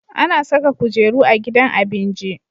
Ana Saka kujeru a gidan abinji